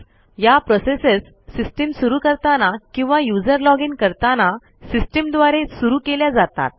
या processes system सुरू करताना किंवा यूझर लॉजिन करताना सिस्टीम द्वारे सुरू केल्या जातात